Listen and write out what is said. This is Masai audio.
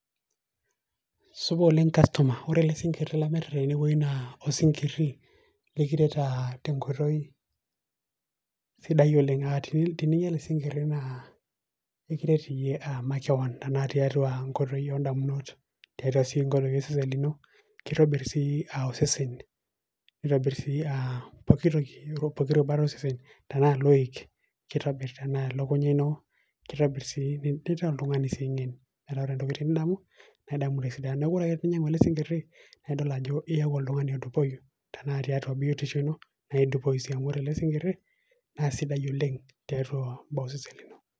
Supa oleng' kastoma. Ore ele sinkirri lamirita tenewueji naa, osinkirri likiret ah tenkoitoi sidai oleng'. Teninya ele sinkirri na, ekiret iyie makeon ah tiatua enkoitoi odamunot, tiatua si enkoitoi osesen lino, kitobirr si osesen, nitobir si ah pooki toki. Ore pooki rubat osesen, tenaa iloik, kitobirr. Tenaa elukunya ino, kitobirr si nitaa oltung'ani si ng'en. Metaa ore ntokitin nidamu, nidamu tesidai. Neeku ore ake pe inyang'u ele sinkirri, naidol ajo iyaku oltung'ani odupoyu. Tenaa tiatu biotisho ino, naidupoyu si. Amu ore ele sinkirri, na sidai oleng' tiatua osesen lino.